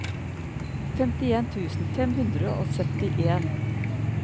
femtien tusen fem hundre og syttien